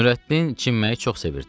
Nurəddin çimməyi çox sevirdi.